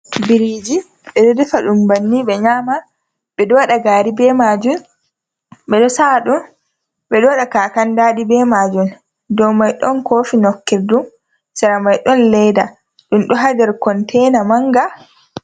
Biriji ɓe ɗo ɗefa ɗum banni ɓe nyama ɓe ɗo wada gari be majum ɓe ɗo sa'a ɗum ɓe ɗo wada kakan dadi be majum dow mai don kofi nokkir ɗum sera mai don leda ɗum do ha nder konteina manga.